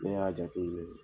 Ne y'a jate minɛ